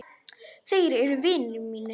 Þeir eru vinir mínir.